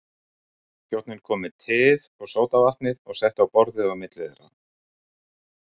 Þjónninn kom með teið og sódavatnið og setti á borðið á milli þeirra.